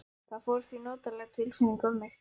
Það fór því notaleg tilfinning um mig.